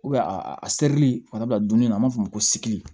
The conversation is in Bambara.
a serili farida dumuni na an b'a fɔ o ma ko